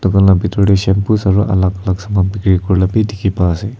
taila bitor dey shampoos aro alak la saman khan bi bikai dikhi pai se.